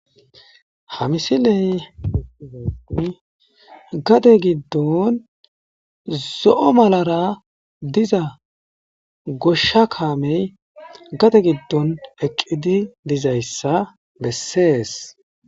Hamisiley gade giddon zo'o malara diza goshsha kaamey gade giddon eqqidi dizayssa bessees.